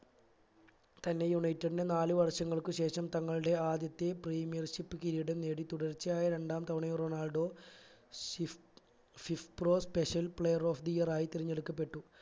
തന്റെ united ന്റെ നാലു വർഷങ്ങൾക്ക് ശേഷം തങ്ങളുടെ ആദ്യത്തെ premier ship കിരീടം നേടി തുടർച്ചയായ രണ്ടാം തവണയും റൊണാൾഡോ ഷിഫ് fifpro special player of the year ആയി തെരഞ്ഞെടുക്കപ്പെട്ടു